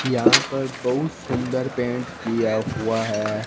यहां पर बहुत सुंदर पेंट किया हुआ है।